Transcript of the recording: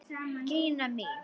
Gína mín!